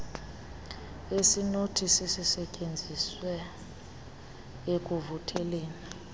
esinothi sisisetyenziswe ekuvuseleleni